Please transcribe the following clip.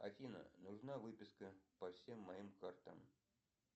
афина нужна выписка по всем моим картам